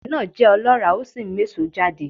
Ilẹ̀ náà jẹ́ ọlọ́ràá ó sì ń méso jáde